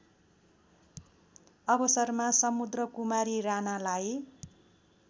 अवसरमा समुद्रकुमारी राणालाई